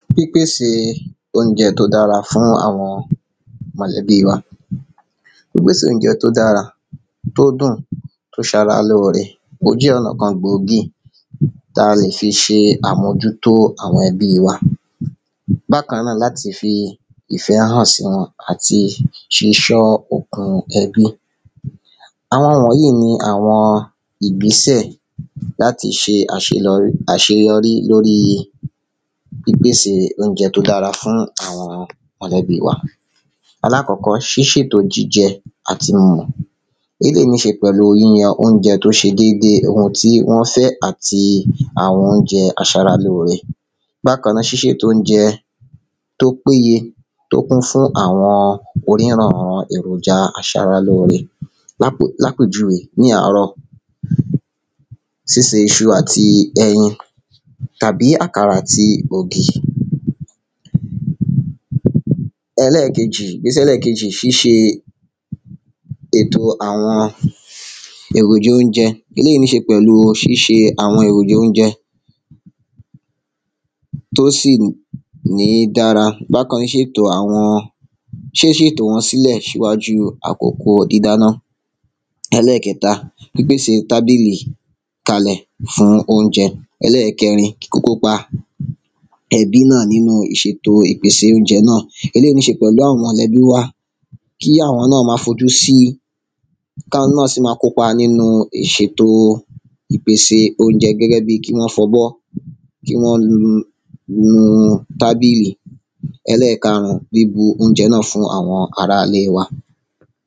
pípèsè oúnjẹ tó dára fún àwọn mọ̀lẹ́bí wa. pípèsè oúnjẹ tó dára, tóó dùn, tó ṣe ara lóóre, ó jẹ́ ọ̀nà kan gbòógì táa lè fi ṣe àmójútó àwọn ẹbí wa bákan náà láti fi ìfẹ́ hàn sí wọn àti ṣísọ́ okun ẹbí àwọn wọ̀nyí ní àwọn ìgbésẹ̀ láti ṣe àṣelọrí àṣeyọrí lóríi pípèsè oúnjẹ tó dára fún àwọn mọ̀lẹ́bí wa alákọ́kọ́ ṣíṣètò jíjẹ, atìmọ̀, eléyìí nííṣe pẹ̀lú yíyan oúnjẹ tó ṣe dédé, ohun tí wọ́n fẹ́ àti àwọn oúnjẹ aṣaralóóre bákàn náà ṣíṣètò oúnjẹ tó péye to kún fún àwọn orírànran èròjà aṣaralóóre lápè, lápèjúwe, ní àárọ̀ síse iṣu àti ẹyin tàbí àkàrà àti ògì ẹlẹ́kejì, ìgbésẹ̀ ẹlẹ́kejì ṣíṣe èto èròjà oúnjẹ, eléyìí níṣe pẹ̀lú ṣíṣe àwọn èròjà oúnjẹ tó sì ní dára, bákan ṣètò àwọn ṣíṣètò wọn sílẹ̀ ṣíwájúu àkókò dídáná ẹlẹ́kẹta, pípèsè tábílí kalẹ̀ fún oúnjẹ ẹlẹ́kẹrin, kíkópa ẹbí náà nínú ìṣètò ípèsè oúnjẹ náà eléyìí níṣe pẹ̀lú àwọn mọ̀lẹ́bí wa, kí àwọn náà máa fojú sí, káwọn náà sì máa kó pa nínú ìṣètò ìpèsè oúnjẹ gẹ́gẹ́bí kí wọ́n fọbọ́ kí wọ́n nu tábìlì. ẹlẹ́kárùn-ún, bíbu oúnjẹ náà fún àwọn ará-ilé wa